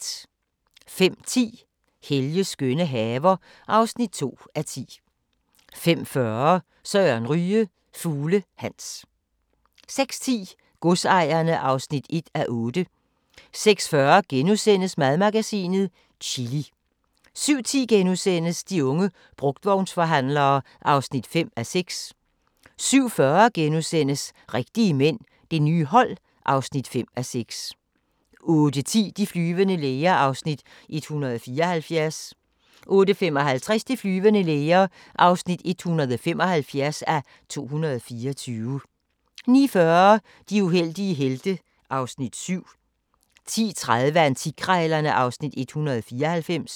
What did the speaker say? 05:10: Helges skønne haver (2:10) 05:40: Søren Ryge – Fugle Hans 06:10: Godsejerne (1:8) 06:40: Madmagasinet - chili * 07:10: De unge brugtvognsforhandlere (5:6)* 07:40: Rigtige mænd – det nye hold (5:6)* 08:10: De flyvende læger (174:224) 08:55: De flyvende læger (175:224) 09:40: De uheldige helte (Afs. 7) 10:30: Antikkrejlerne (Afs. 194)